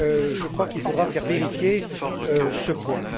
Je crois qu'il faudra faire vérifier ce point.